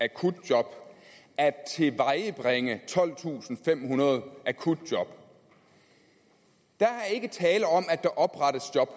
akutjob at tilvejebringe tolvtusinde femhundrede akutjob der er ikke tale om at der oprettes job